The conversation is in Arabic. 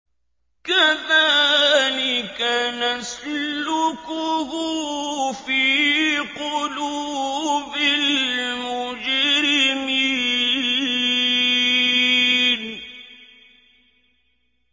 كَذَٰلِكَ نَسْلُكُهُ فِي قُلُوبِ الْمُجْرِمِينَ